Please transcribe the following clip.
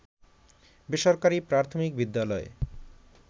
বেসরকারি প্রাথমিক বিদ্যালয়